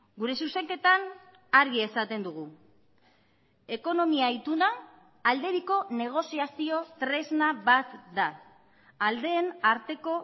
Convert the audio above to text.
gure zuzenketan argi esaten dugu ekonomia ituna alde biko negoziazio tresna bat da aldeen arteko